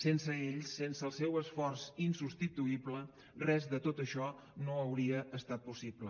sense ells sense el seu esforç insubstituïble res de tot això no hauria estat possible